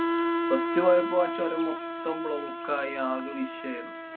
first പോയപ്പൊ ആ ചൊരം മൊത്തം block ആയി ആകെ വിഷയായിരുന്നു.